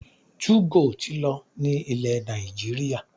2go ti lọ ní ilẹ̀ Nàìjíríà